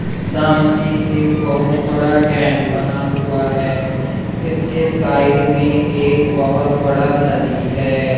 सामने एक बहोत बड़ा डैम बना हुआ है इसके साइड में एक बहोत बड़ा नदी है।